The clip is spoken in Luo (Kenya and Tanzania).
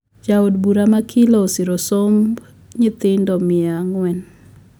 Jaod bura ma kilo osiro somb nyithindo miya ang`uen